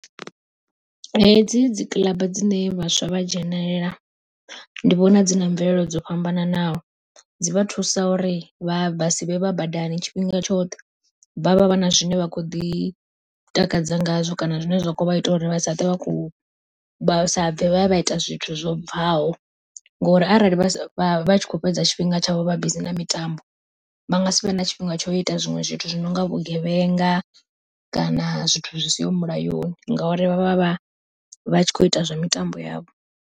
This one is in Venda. Hedzi dzi kiḽaba dzine vhaswa vha dzhenelela, ndi vhona dzi na mvelelo dzo fhambananaho, dzi vha thusa uri vha vhe vha sivhe vha badani tshifhinga tshoṱhe, vha vha vha na zwine vha kho ḓi takadza ngazwo kana zwine zwa kho vha ita uri vha sa ṱwe vha khou vha sabve vha ya ita zwithu zwo bvaho. Ngori arali vha tshi kho fhedza tshifhinga tshavho vha bizi na mitambo, vha nga si vhe na tshifhinga tsho ita zwiṅwe zwithu zwi no nga vhugevhenga kana zwithu zwi siho mulayoni, ngauri vha vha vha vha vha tshi kho ita zwa mitambo yavho.